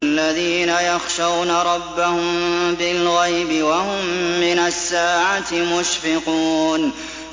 الَّذِينَ يَخْشَوْنَ رَبَّهُم بِالْغَيْبِ وَهُم مِّنَ السَّاعَةِ مُشْفِقُونَ